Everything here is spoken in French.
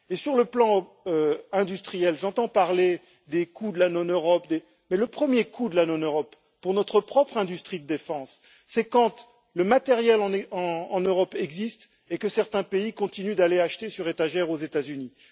pas. Sur le plan industriel, j'entends parler des coûts de la non Europe, mais le coût de la non Europe pour notre propre industrie de défense, c'est quand le matériel existe en Europe et que certains pays continuent d'aller acheter sur étagère aux États Unis.